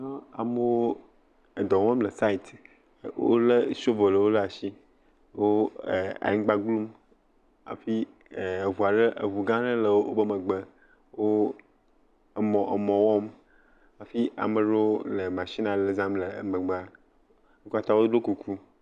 Amewo edɔ wɔm le sait, wolé sobolowo ɖe asi, wo anyigba glum hafi eŋu ɖe, eŋu gã aɖe le wo megbe hafi wo emɔ emɔ, wɔm hafi ame ɖewo le matsin ale zam le wo megbe. Wo katã woɖo kuku.